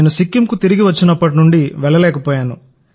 సిక్కింకు తిరిగి వచ్చినప్పటి నుండి నేను వెళ్లలేకపోయాను